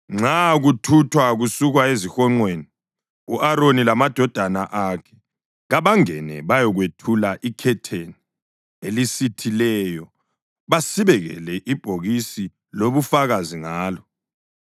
Nxa kuthuthwa kusukwa ezihonqweni, u-Aroni lamadodana akhe kabangene bayekwethula ikhetheni elisithileyo basibekele ibhokisi lobufakazi ngalo.